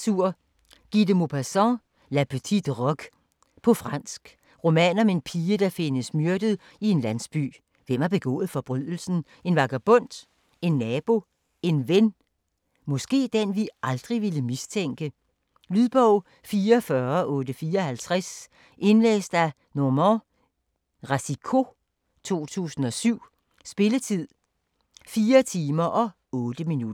Maupassant, Guy de: La petite roque På fransk. Roman om en pige der findes myrdet i en landsby. Hvem har begået forbrydelsen? En vagabond? En nabo? En ven? Måske den vi aldrig ville mistænke? Lydbog 44854 Indlæst af Normand Racicot, 2007. Spilletid: 4 timer, 8 minutter.